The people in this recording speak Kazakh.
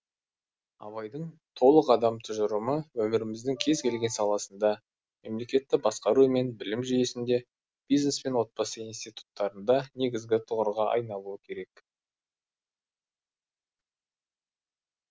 абайдың толық адам тұжырымы өміріміздің кез келген саласында мемлекетті басқару мен білім жүйесінде бизнес пен отбасы институттарында негізгі тұғырға айналуы керек